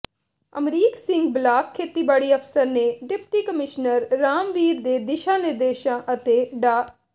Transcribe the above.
Amrik Singh block ਖੇਤੀਬਾੜੀ ਅਫ਼ਸਰ ਨੇ ਡਿਪਟੀ ਕਮਿਸ਼ਨਰ ਰਾਮਵੀਰ ਦੇ ਦਿਸ਼ਾ ਨਿਰਦੇਸ਼ਾਂ ਅਤੇ ਡਾ